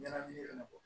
Ɲɛnamini ko